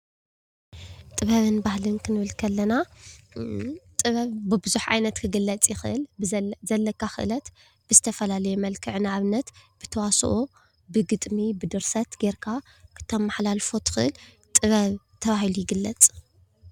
ጥበብን ባህልን ክንብል ከለና ጥበብ ብቡዙሕ ዓይነት ክግለፅ ይክእል። ብዘለካ ክእለት ብዝተፈላለየ መልክዕ ንኣብነት ብተዋሶኦ ፣ብግጥሚ ፣ብድርሰት ገይርካ ክተምሓላልፎ ትክእል ጥበብ ተባሂሉ ይግለፅ፡፡